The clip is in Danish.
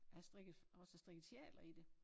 Jeg har strikket også strikket sjaler i det